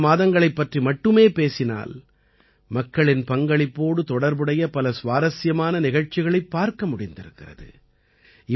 முதல் சில மாதங்களைப் பற்றி மட்டுமே பேசினால் மக்களின் பங்களிப்போடு தொடர்புடைய பல சுவாரசியமான நிகழ்ச்சிகளைப் பார்க்க முடிந்திருக்கிறது